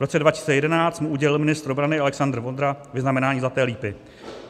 V roce 2011 mu udělil ministr obrany Alexander Vondra vyznamenání Zlaté lípy.